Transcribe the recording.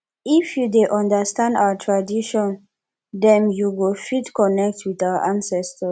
if you dey understand our tradition dem you go fit connect with our ancestors